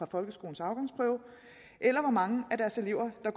folkeskolens afgangsprøve eller hvor mange af deres elever der